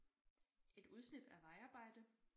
Et udsnit af vejarbejde